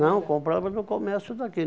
Não, comprava no comércio daqui.